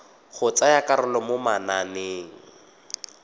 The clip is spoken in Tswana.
go tsaya karolo mo mananeng